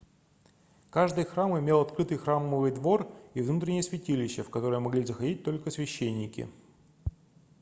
каждый храм имел открытый храмовый двор и внутреннее святилище в которое могли заходить только священники